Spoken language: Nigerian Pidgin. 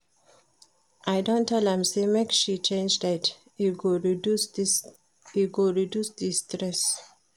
I don tell am sey make she change diet, e go reduce di stress.